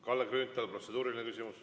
Kalle Grünthal, protseduuriline küsimus.